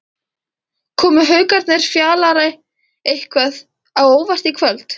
Komu Haukarnir Fjalari eitthvað á óvart í kvöld?